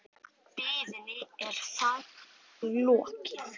Biðinni er þar með lokið.